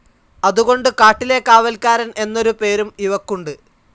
അതുകൊണ്ട് കാട്ടിലെ കാവൽക്കാരൻ എന്നൊരു പേരും ഇവക്കുണ്ട്.